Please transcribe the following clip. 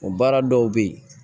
O baara dɔw bɛ yen